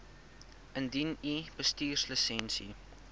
indien u bestuurslisensie